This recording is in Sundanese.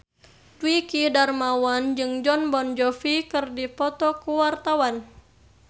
Dwiki Darmawan jeung Jon Bon Jovi keur dipoto ku wartawan